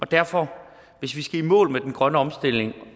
derfor skal i mål med den grønne omstilling